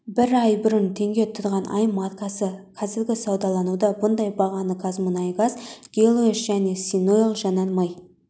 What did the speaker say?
бір ай бұрын теңге тұрған аи маркасы қазір саудалануда бұндай бағаны қазмұнайгаз гелиос және синойл жанармай